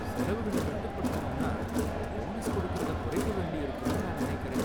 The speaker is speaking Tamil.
செலவுகள கட்டுப்படுத்தணும்னா போனஸ் கொடுக்கறத குறைக்க வேண்டியிருக்கும்னு நான் நினைக்கிறேன்